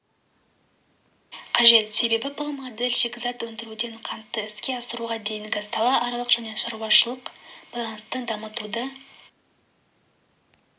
қажет себебі бұл модель шикізат өндіруден қантты іске асыруға дейінгі салааралық және шаруашылықаралық байланысты дамытуды